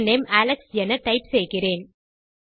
full name Alex என type செய்கிறேன்